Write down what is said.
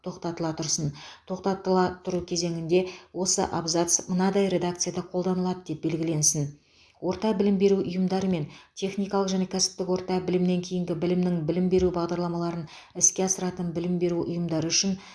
тоқтатыла тұрсын тоқтатыла тұру кезеңінде осы абзац мынадай редакцияда қолданылады деп белгіленсін орта білім беру ұйымдары мен техникалық және кәсіптік орта білімнен кейінгі білімнің білім беру бағдарламаларын іске асыратын білім беру ұйымдары үшін